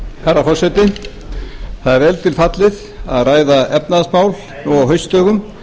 herra forseti það er vel til fallið að ræða efnahagsmál nú á haustdögum